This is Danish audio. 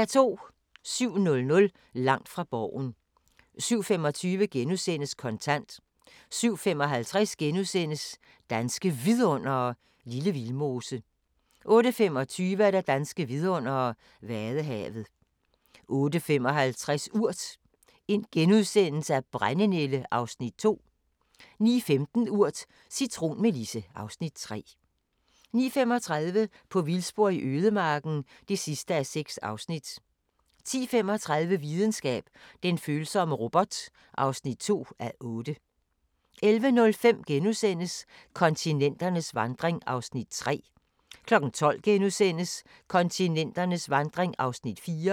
07:00: Langt fra Borgen 07:25: Kontant * 07:55: Danske Vidundere: Lille Vildmose * 08:25: Danske vidundere: Vadehavet 08:55: Urt: Brændenælde (Afs. 2)* 09:15: Urt: Cintronmelisse (Afs. 3) 09:35: På vildspor i ødemarken (6:6) 10:35: Videnskab: Den følsomme robot (2:8) 11:05: Kontinenternes vandring (3:5)* 12:00: Kontinenternes vandring (4:5)*